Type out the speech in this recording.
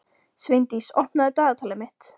Sveindís, opnaðu dagatalið mitt.